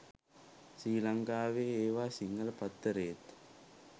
ශ්‍රි ලංකාවේ ඒවා සිංහල පත්තරේත්